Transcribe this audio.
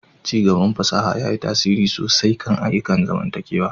Ci gaban fasaha ya yi tasiri sosai kan ayyukan zamantakewa.